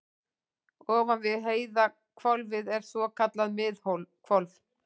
ofan við heiðhvolfið er svokallað miðhvolf